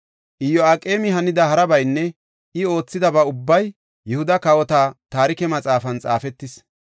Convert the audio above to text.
Iyo7aqeemi hanida harabaynne I oothidaba ubbay Yihuda Kawota Taarike Maxaafan xaafetis.